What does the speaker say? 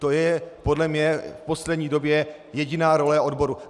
To je podle mě v poslední době jediná role odborů.